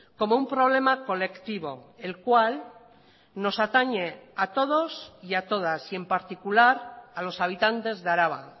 como un problema colectivo el cual nos atañe a todos y a todas y en particular a los habitantes de araba